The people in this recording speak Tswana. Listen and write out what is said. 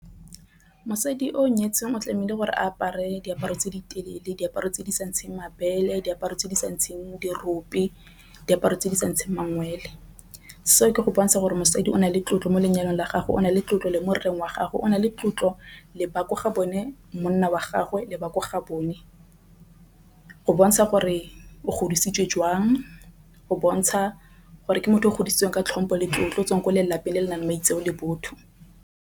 Mosadi o nyetseng o tlamehile gore apare diaparo tse di telele. Diaparo tse di sa ntsheng mabele diaparo tse di sa ntseng . Diaparo tse di sa ntsha mangwele seo ke go bontsha gore mosadi o na le tlotlo mo lenyalong la gago. O na le tlotlo le morerong wa gagwe, o na le tlotlo lebaka ga bone monna wa gagwe lebaka ga bone. Go bontsha gore o godisitswe jwang o bontsha gore ke motho o godisitswe ka tlhompo le tlotlo o tswa ko lelapeng le le nang le maitseo le botho.